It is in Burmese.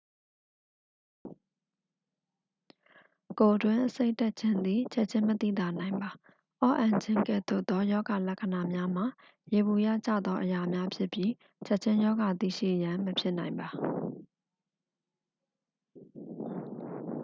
ကိုယ်တွင်းအဆိပ်တက်ခြင်းသည် ချက်ခြင်းမသိသာနိုင်ပါ အော့အန်ခြင်းကဲ့သို့သော ရောဂါလက္ခဏာများမှာ ယေဘုယျကျသောအရာများဖြစ်ပြီး ချက်ခြင်းရောဂါသိရှိရန် မဖြစ်နိုင်ပါ